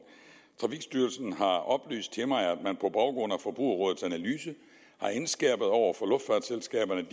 trafikstyrelsen har oplyst til mig at af forbrugerrådets analyse har indskærpet over for luftfartsselskaberne